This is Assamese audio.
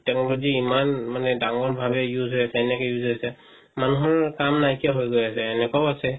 তেওৰ যদি ইমান মানে ডাঙৰভাৱে use হই আছে কেনেকে use হইছে মানুহৰ কাম নাই কিয়া হই গই আছে এনেকোৱাও আছে